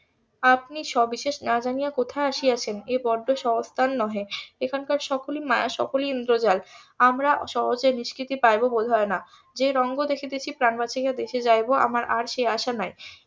আপনি সবিশেষ না জানিয়া কোথায় আসিয়াছেন এ বড্ড . নহে এখানকার সকলি মায়া সকলি ইন্দ্রজাল আমরা সহজে নিষ্কৃতি পাইবো বোধ হয় না যে রঙ্গ দেখিতেছি প্রাণ বাঁচিয়া দেশে যাইবো আমার আর সে আশা নাই